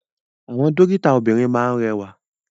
Àwọn dókítà obìrin máa ni rẹwa.